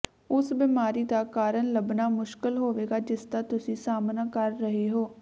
ਉਸ ਬਿਮਾਰੀ ਦਾ ਕਾਰਨ ਲੱਭਣਾ ਮੁਸ਼ਕਲ ਹੋਵੇਗਾ ਜਿਸਦਾ ਤੁਸੀਂ ਸਾਹਮਣਾ ਕਰ ਰਹੇ ਹੋ